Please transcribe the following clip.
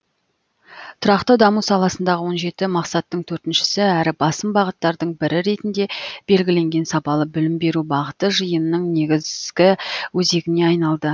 тұрақты даму саласындағы он жеті мақсаттың төртіншісі әрі басым бағыттардың бірі ретінде белгіленген сапалы білім беру бағыты жиынның негізгі өзегіне айналды